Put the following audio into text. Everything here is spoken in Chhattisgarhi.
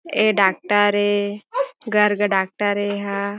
ए डॉक्टर ए गर्ग डॉक्टर ए एहा --